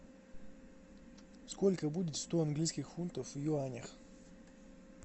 сколько будет сто английских фунтов в юанях